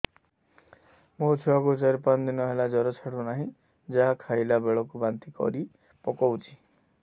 ମୋ ଛୁଆ କୁ ଚାର ପାଞ୍ଚ ଦିନ ହେଲା ଜର ଛାଡୁ ନାହିଁ ଯାହା ଖାଇଲା ବେଳକୁ ବାନ୍ତି କରି ପକଉଛି